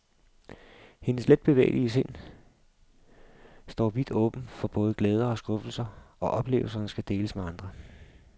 Hendes letbevægelige sind står vidt åbent for både glæder og skuffelser, og oplevelserne skal deles med andre.